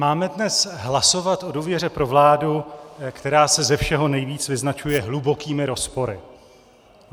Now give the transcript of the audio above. Máme dnes hlasovat o důvěře pro vládu, která se ze všeho nejvíc vyznačuje hlubokými rozpory.